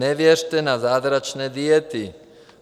Nevěřte na zázračné diety.